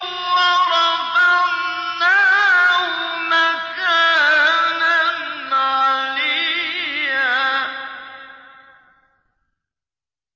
وَرَفَعْنَاهُ مَكَانًا عَلِيًّا